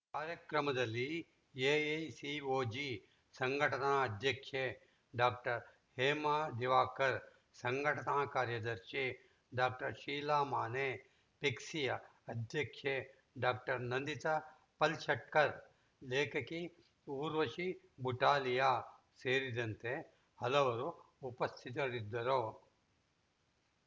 ಕಾರ್ಯಕ್ರಮದಲ್ಲಿ ಎಐಸಿಒಜಿ ಸಂಘಟನಾ ಅಧ್ಯಕ್ಷೆ ಡಾಕ್ಟರ್ ಹೇಮಾ ದಿವಾಕರ್‌ ಸಂಘಟನಾ ಕಾರ್ಯದರ್ಶಿ ಡಾಕ್ಟರ್ ಶೀಲಾ ಮಾನೆ ಫೆಗ್ಸಿಯ ಅಧ್ಯಕ್ಷೆ ಡಾಕ್ಟರ್ ನಂದಿತಾ ಪಲ್‌ಶೆಟ್ಕರ್‌ ಲೇಖಕಿ ಊರ್ವಶಿ ಬುಟಾಲಿಯ ಸೇರಿದಂತೆ ಹಲವರು ಉಪಸ್ಥಿತರಿದ್ದರು